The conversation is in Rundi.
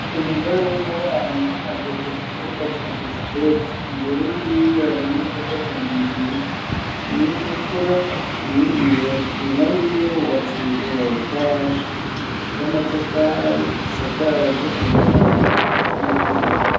Umugore w'umubanyi ageze ku kibuga ca basiketi imbere yiwe hari imodoka zibiri nziza imwitukura iyindi yera inyuma yiwe hubatsa inzu ya etaje y'amatafari isakaje amabati a sa noburora.